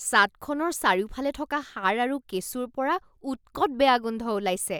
ছাদখনৰ চাৰিওফালে থকা সাৰ আৰু কেঁচুৰ পৰা উৎকট বেয়া গোন্ধ ওলাইছে